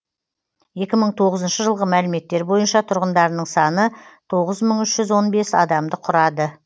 екі мың тоғызыншы жылғы мәліметтер бойынша тұрғындарының саны тоғыз мың үш жүз он бес адамды құрады